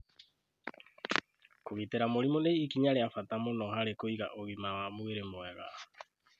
Kũgitĩra mũrimũ nĩ ikinya rĩa bata mũno harĩ kũiga ũgima wa mwĩrĩ mwega.